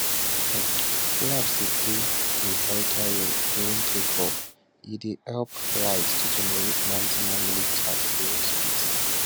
um flaps dey play a vital role during takeoff e dey help aircraft to generate maximum lift at lower speeds